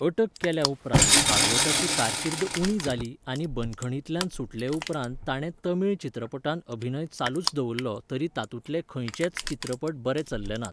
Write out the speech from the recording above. अटक केल्या उपरांत भागवताची कारकीर्द उणी जाली आनी बंदखणींतल्यान सुटले उपरांत ताणें तमिळ चित्रपटांत अभिनय चालूच दवरलो तरी तातूंतले खंयचेच चित्रपट बरे चल्लेनात.